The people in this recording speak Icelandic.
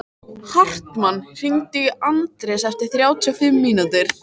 Hartmann, hringdu í Anders eftir þrjátíu og fimm mínútur.